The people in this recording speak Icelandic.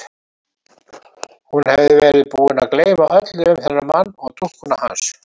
Hún hafði verið búin að gleyma öllu um þennan mann og dúkkuna hans.